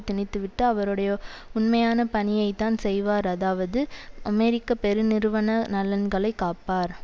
திணித்துவிட்டு அவருடைய உண்மையான பணியைத்தான் செய்வார் அதாவது அமெரிக்க பெருநிறுவன நலன்களை காப்பார்